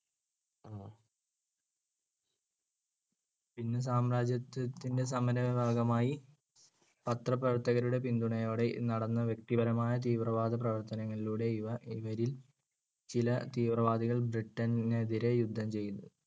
ഇന്ന് സാമ്രാജ്യത്വത്തിന്‍ടെ ഭാഗമായി പത്രപ്രവർത്തകരുടെ പിന്തുണയോടെ നടന്ന വ്യക്തിപരമായ തീവ്രവാദപ്രവർത്തനങ്ങളിലൂടെ ഇവര്‍ ഇവരിൽ ചില തീവ്രവാദികൾ ബ്രിട്ടന് എതിരെ യുദ്ധം ചെയ്തു.